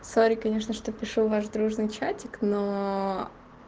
сори конечно что пишу в ваш дружный чатик но